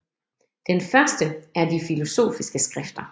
Den første er de filosofiske skrifter